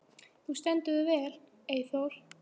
Þú stendur þig vel, Eyþór!